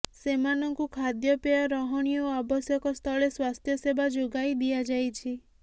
ସେମାନଙ୍କୁ ଖାଦ୍ୟପେୟ ରହଣି ଓ ଆବଶ୍ୟକ ସ୍ଥଳେ ସ୍ୱାସ୍ଥ୍ୟ ସେବା ଯୋଗାଇ ଦିଆଯାଇଛି